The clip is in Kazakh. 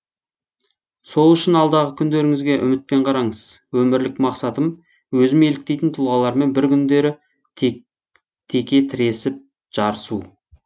сол үшін алдағы күндеріңізге үмітпен қараңыз өмірлік мақсатым өзім еліктейтін тұлғалармен бір күндері теке тіресіп жарысу